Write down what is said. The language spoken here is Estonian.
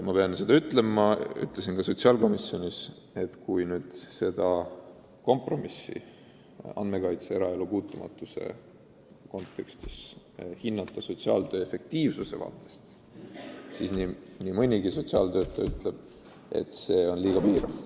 Ma ütlesin ka sotsiaalkomisjonis, et kui seda eraelu puutumatust silmas pidavat kompromissi hinnata sotsiaaltöö efektiivsuse seisukohast lähtudes, siis nii mõnigi sotsiaaltöötaja arvab, et see on liiga piirav.